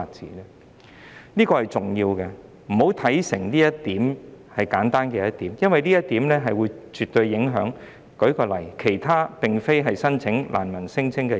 請大家不要把《條例草案》看得太簡單，因為這絕對會影響其他並非難民聲請的申請人。